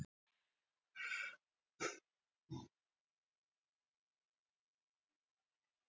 Var vægast sagt lærdómsríkt að eyða heilum degi í samfélagi við fangana á